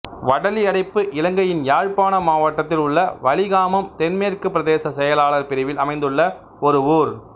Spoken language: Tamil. வடலியடைப்பு இலங்கையின் யாழ்ப்பாண மாவட்டத்தில் உள்ள வலிகாமம் தென்மேற்கு பிரதேச செயலாளர் பிரிவில் அமைந்துள்ள ஒரு ஊர்